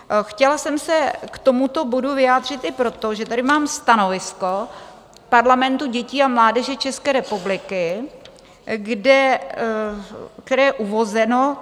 Chtěla jsem se k tomuto bodu vyjádřit i proto, že tady mám stanovisko Parlamentu dětí a mládeže České republiky, které je uvozeno...